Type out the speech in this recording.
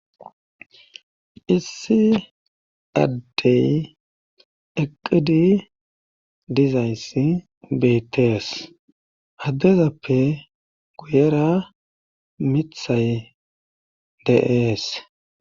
Issi addey eqqidi dizayss beetees addezappe guyera mithay dees